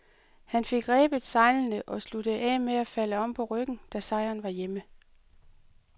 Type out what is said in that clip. Han fik rebet sejlene og sluttede af med at falde om på ryggen, da sejren var hjemme.